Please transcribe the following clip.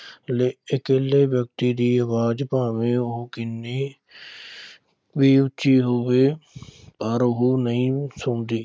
ਲੇ ਇਕੱਲੇ ਵਿਅਕਤੀ ਦੀ ਆਵਾਜ਼ ਭਾਵੇਂ ਕਿੰਨੀ ਵੀ ਉੱਚੀ ਹੋਵੇ ਪਰ ਉਹ ਨਹੀਂ ਸੁਣਦੀ।